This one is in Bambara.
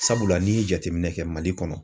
Sabula n'i ye jateminɛ kɛ MALI kɔnɔ.